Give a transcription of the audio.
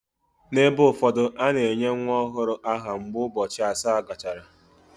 N’ebe ụfọdụ, a na-enye nwa ọhụrụ aha mgbe ụbọchị asaa gachara.